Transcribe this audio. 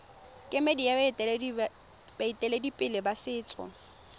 kemedi ya baeteledipele ba setso